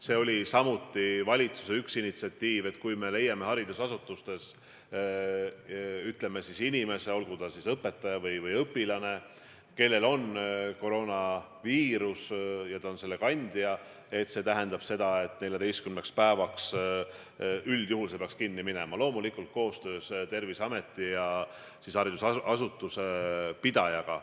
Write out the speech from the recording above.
See oli samuti valitsuse initsiatiiv, et kui haridusasutustes leitakse inimene, olgu ta õpetaja või õpilane, kellel on koroonaviirus ja ta on selle kandja, siis see tähendab seda, et 14 päevaks see kool peaks kinni minema, loomulikult koostöös Terviseameti ja haridusasutuse pidajaga.